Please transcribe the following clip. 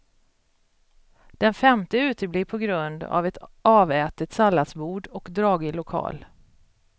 Den femte uteblir på grund av ett avätet salladsbord och dragig lokal.